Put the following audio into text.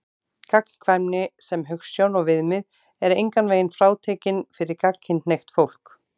Gagnkvæmni sem hugsjón og viðmið er engan veginn frátekin fyrir gagnkynhneigt fólk.